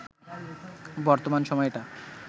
বর্তমান সময়টা